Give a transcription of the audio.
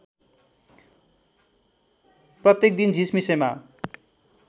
प्रत्येक दिन झिसमिसेमा